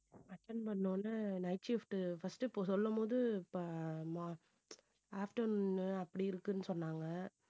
attend பண்ண உடனே night shift first இப்ப சொல்லும் போது ப~ ம~ afternoon அப்படி இருக்குன்னு சொன்னாங்க